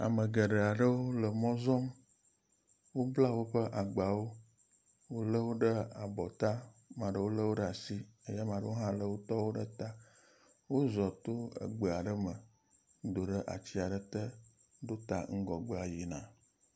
Ame geɖe aɖewo le mɔ zɔm. Wobla woƒe agbawo. Woléwo ɖe abɔ ta, ame aɖewo lé wo ɖe asi eye ame aɖewo hã lé wotɔwo ɖe ta. Wozɔ̃ to gbe aɖe me do ɖe atsi aɖe te ɖo ta ŋgɔgbea yina.